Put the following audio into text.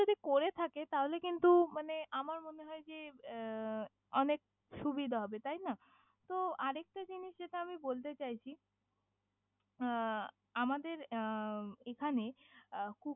যদি করে থাকে তালে কিন্তু মানে আমার মনে হয় যে আহ অনেক সুবিধা হবে তাইনা তহ আরেকটা জিনিস যেটা আমি বলতে চাইছি আহ আমাদের আহ এখানে আহ